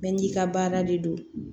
Bɛɛ n'i ka baara de don